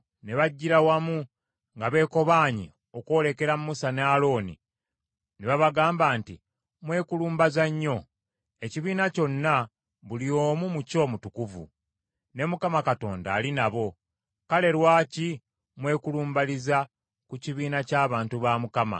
Ne bajjira wamu nga beekobaanye okwolekera Musa ne Alooni ne babagamba nti, “Mwekulumbaza nnyo! Ekibiina kyonna, buli omu mu kyo mutukuvu, ne Mukama Katonda ali nabo. Kale, lwaki mwekulumbaliza ku kibiina ky’abantu ba Mukama ?”